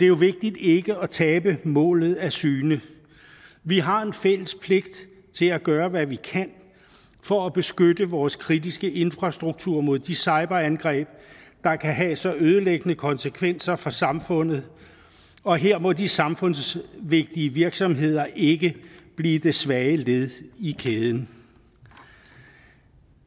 jo vigtigt ikke at tabe målet af syne vi har en fælles pligt til at gøre hvad vi kan for at beskytte vores kritiske infrastruktur mod de cyberangreb der kan have så ødelæggende konsekvenser for samfundet og her må de samfundsvigtige virksomheder ikke blive det svage led i kæden